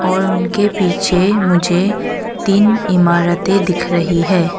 और उनके पीछे मुझे तीन इमारतें दिख रहीं हैं।